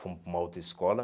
Fomos para uma outra escola.